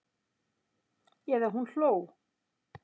Eða hún hló.